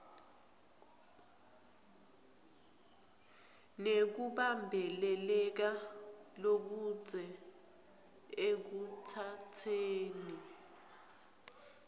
nekubambeleleka lokudze ekutsatseni